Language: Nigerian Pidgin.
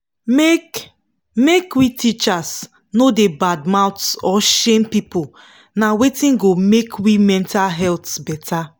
make make we teachers no da bad mouth or shame people na wetin go make we mental health better